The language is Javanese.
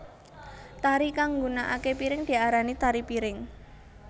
Tari kang nggunakaké piring diarani tari piring